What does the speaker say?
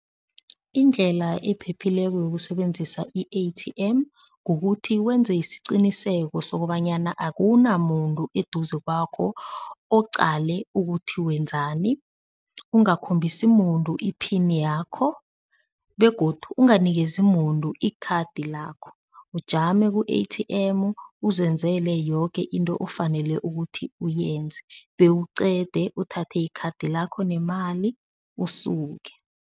Indlela ephephileko yokusebenzisa i-A_T_M kukuthi wenze isiqiniseko sokobanyana akunamuntu eduze kwakho oqale ukuthi wenzani, ungakhombisi muntu iphini yakho begodu unganikezi muntu ikhadi lakho, ujame ku-A_T_M uzenzele yoke into ofanele ukuthi uyenze bewuqede, uthathe ikhadi lakho nemali usuke.